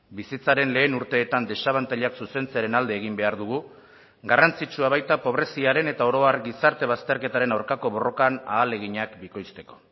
bizitzaren lehen urteetan desabantailak zuzentzearen alde egin behar dugu garrantzitsua baita pobreziaren eta oro har gizarte bazterketaren aurkako borrokan ahaleginak bikoizteko